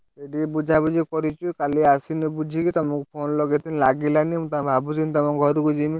ଏଇ ଟିକେ ବୁଝାବୁଝି କରିଛୁ କାଲି ଆସିଲେ ବୁଝି କି ତମକୁ phone ଲଗେଇ ଥିଲି ଲାଗିଲାନି ଭାବୁଛି ତମ ଘରୁକୁ ଜିମି।